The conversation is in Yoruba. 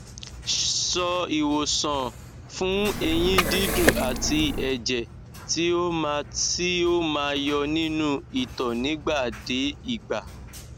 so iwosan fun eyin didun at eje ti o ma ti o ma yo ninu ito nigba de igba